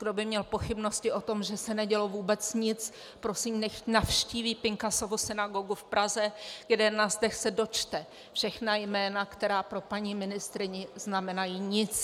Kdo by měl pochybnosti o tom, že se nedělo vůbec nic, prosím, nechť navštíví Pinkasovu synagogu v Praze, kde na zdech se dočte všechna jména, která pro paní ministryni znamenají nic.